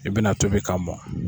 I bɛna tobi k'a mɔ.